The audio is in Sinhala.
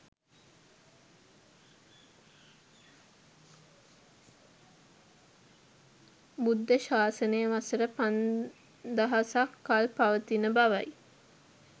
බුද්ධ ශාසනය වසර පන්දහසක් කල් පවතින බව යි.